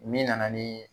Min nana nii